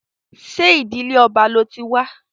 Ṣé ìdílé ọba lo ti wa?